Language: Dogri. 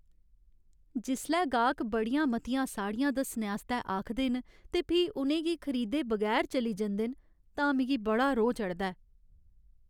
जिसलै गाह्क बड़ियां मतियां साड़ियां दस्सने आस्तै आखदे न ते फ्ही उ'नें गी खरीदे बगैर चली जंदे न तां मिगी बड़ा रोह् चढ़दा ऐ।